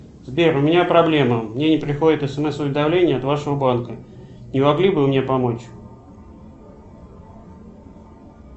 сбер у меня проблема мне не приходят смс уведомления от вашего банка не могли бы вы мне помочь